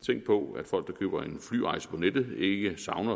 tænk på at folk der køber en flyrejse på nettet ikke savner at